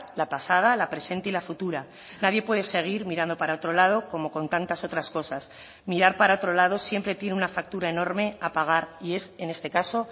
la pasada la presente y la futura nadie puede seguir mirando para otro lado como con tantas otras cosas mirar para otro lado siempre tiene una factura enorme a pagar y es en este caso